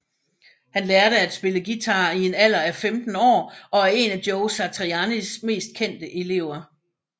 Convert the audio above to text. Han lærte at spille guitar en alder af 15 år og er en af Joe Satrianis mest kendte elever